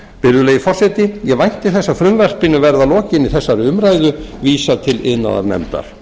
virðulegi forseti ég vænti þess að frumvarpinu verði að lokinni þessari umræðu vísað til iðnaðarnefndar